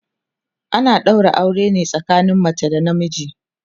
ana ɗaura aure ne tsakanin mace da na miji